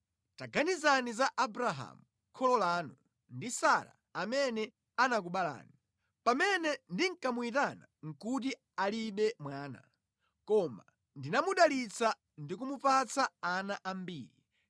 taganizani za Abrahamu, kholo lanu, ndi Sara, amene anakubalani. Pamene ndinkamuyitana nʼkuti alibe mwana, koma ndinamudalitsa ndi kumupatsa ana ambiri.